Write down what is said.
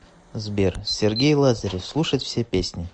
сбер сергей лазарев слушать все песни